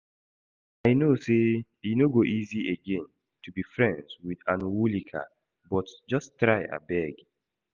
I know say e no go easy again to be friends with Anwulika but just try abeg